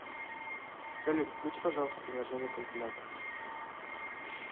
салют включи пожалуйста приложение калькулятор